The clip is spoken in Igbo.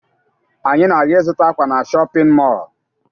Anyị na-aga ịzụta ákwà na shọpịn mọọ